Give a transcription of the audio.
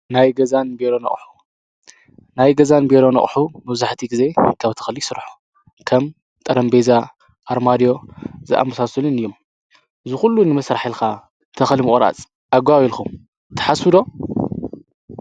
ናይ ገዛን ቢሮን ኣቁሑ :ናይ ገዛን ቢሮን ኣቁሑ መብዛሕቲኡ ግዜ ካብ ተኽሊ ይስርሑ ።ከም ጠረጴዛ ኣርማድዮ ዝኣመሳሰሉ እዮም ።ዝኹሉ ንምስራሕ ኢልካ ተኽሊ ንምቁራፅ ኣገባብ ኢልኩም ትሓስቡ ዶ ?